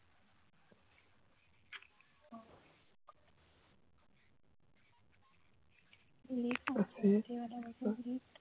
লেখা আছে আছে